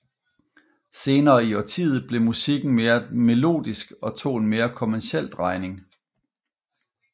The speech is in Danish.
Senere i årtiet blev musikken mere melodisk og tog en mere kommerciel drejning